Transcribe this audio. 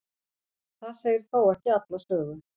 það segir þó ekki alla sögu